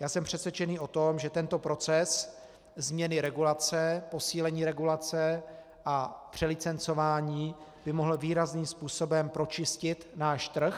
Já jsem přesvědčený o tom, že tento proces změny regulace, posílení regulace a přelicencování, by mohl výrazným způsobem pročistit náš trh.